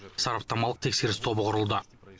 сараптамалық тексеріс тобы құрылды